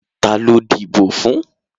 Ta ló díbò fún?